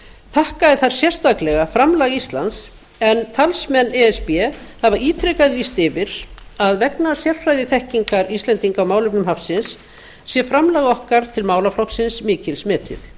þakkaði þar sérstaklega framlag íslands en talsmenn e s b hafa ítrekað lýst yfir að vegna sérfræðiþekkingar íslendinga á málefnum hafsins sé framlag okkar til málaflokksins mikils metið